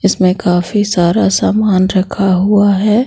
इसमें काफी सारा सामान रखा हुआ है।